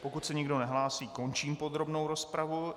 Pokud se nikdo nehlásí, končím podrobnou rozpravu.